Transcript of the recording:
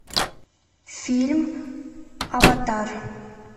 фильм аватар